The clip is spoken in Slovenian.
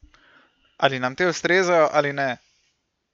Ali nam te ustrezajo ali ne?